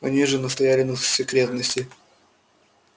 они же настояли на засекретности